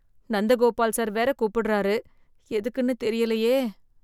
Nandagopal sir வேற கூப்பிடுறாரு எதுக்குன்னு தெரியலையே!